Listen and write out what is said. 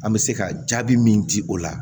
An bɛ se ka jaabi min di o la